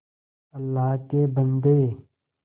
अल्लाह के बन्दे